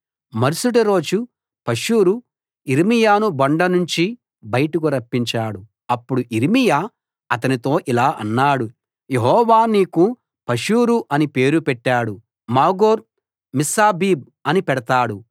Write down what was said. మరుసటి రోజు పషూరు యిర్మీయాను బొండ నుంచి బయటకు రప్పించాడు అప్పుడు యిర్మీయా అతనితో ఇలా అన్నాడు యెహోవా నీకు పషూరు అని పేరు పెట్టడు మాగోర్ మిస్సాబీబ్‌ అని పెడతాడు